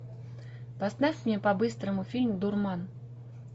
поставь мне по быстрому фильм дурман